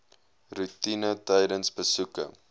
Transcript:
roetine tydens besoeke